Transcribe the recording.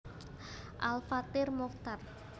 Al Fathir Muchtar